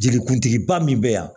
Jelikuntigiba min bɛ yan